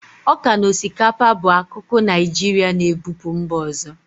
Ọka na osikapa bu akụkụ Naijirịa na-ebupu mba ọzọ.